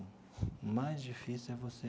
O mais difícil é você.